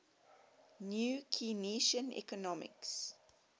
new keynesian economics